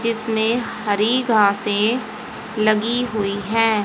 जिसमें हरि घासें लगी हुई हैं।